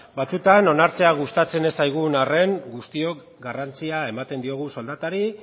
batzuetan onartzea gustatzen ez zaigun arren guztiok garrantzia ematen diogu soldatari